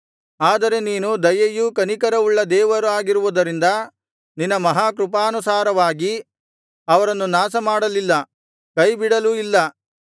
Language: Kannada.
ಆದರೆ ನೀನು ದಯೆಯೂ ಕನಿಕರವೂ ಉಳ್ಳ ದೇವರಾಗಿರುವುರಿಂದ ನಿನ್ನ ಮಹಾಕೃಪಾನುಸಾರವಾಗಿ ಅವರನ್ನು ನಾಶಮಾಡಲಿಲ್ಲ ಕೈಬಿಡಲೂ ಇಲ್ಲ